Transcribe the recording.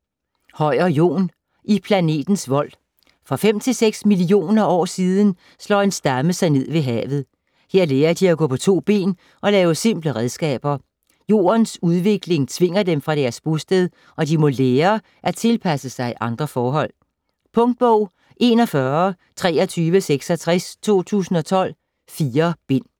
Høyer, Jon: I planetens vold For 5-6 millioner år siden slår en stamme sig ned ved havet. Her lærer de at gå på to ben og lave simple redskaber. Jordens udvikling tvinger dem fra deres bosted, og de må lære at tilpasse sig andre forhold. Punktbog 412366 2012. 4 bind.